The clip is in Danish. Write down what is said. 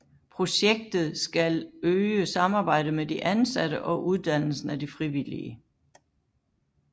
Projektet skal øge samarbejdet med de ansatte og uddannelsen af de frivillige